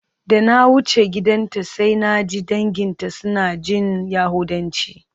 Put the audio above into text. Da na wuce gidanta sai naji danginta suna jin yahudanci.